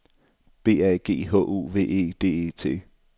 B A G H O V E D E T